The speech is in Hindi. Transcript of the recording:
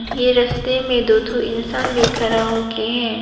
ये रस्ते में दो ठो इंसान भी खड़ा होके है।